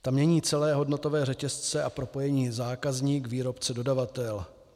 Ta mění celé hodnotové řetězce a propojení zákazník-výrobce-dodavatel.